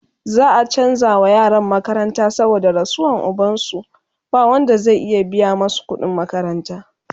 za'a chanza wa yaran makaranta saboda rasuwan ubansu, ba Wanda zai iya biya masu kudin makaranta